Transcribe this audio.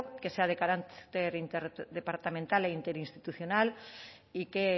que sea de carácter interdepartamental e interinstitucional y que